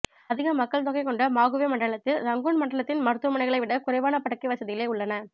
அதிக மக்கள் தொகை கொண்ட மாகுவே மண்டலத்தில் இரங்கூன் மண்டலத்தின் மருத்துவமனைகளைவிட குறைவான படுக்கை வசதிகளே உள்ளன